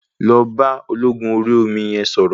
Lọ bá ológun Orí omi yẹn sọ̀rọ̀.